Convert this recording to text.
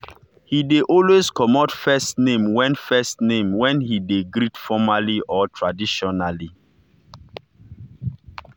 he dey always comot first name when first name when he dey greet formaly or traditionally.